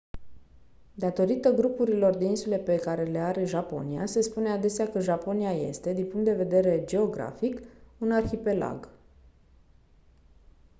datorită grupurilor de insule pe care le are japonia se spune adesea că japonia este din punct de vedere geografic un «arhipelag».